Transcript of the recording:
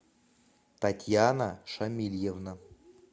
татьяна шамильевна